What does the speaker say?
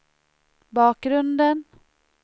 bakgrunden